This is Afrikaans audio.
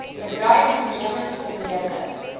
bedryf toenemend vermeerder